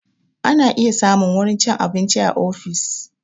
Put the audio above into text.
Ana iya samun wurin cin abinci a ofis